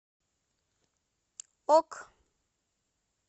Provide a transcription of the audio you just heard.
ок